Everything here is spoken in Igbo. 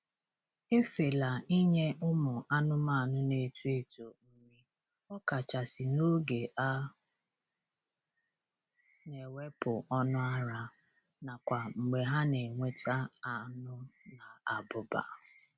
Efela inye ụmụ anụmanụ na-eto eto nri, ọkachasị n'oge a na-ewepụ ọnụ ara, nakwa mgbe ha na ewneta anu na abụba.